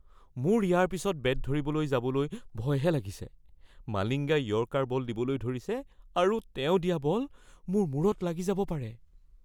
মোৰ ইয়াৰ পিছত বেট ধৰিবলৈ যাবলৈ ভয়হে লাগিছে। মালিংগাই য়ৰ্কাৰ বল দিবলৈ ধৰিছে আৰু তেওঁ দিয়া বল মোৰ মূৰত লাগি যাব পাৰে।